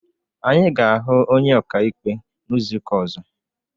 Anyị ga ahụ onye ọkaikpe n'izuka ozo